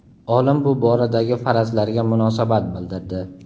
olim bu boradagi farazlarga munosabat bildirdi.